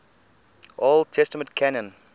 old testament canon